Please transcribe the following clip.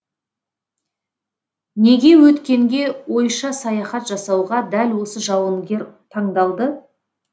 неге өткенге ойша саяхат жасауға дәл осы жауынгер таңдалды